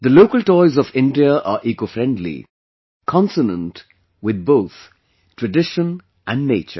The local toys of India are ecofriendly, consonant with both tradition and nature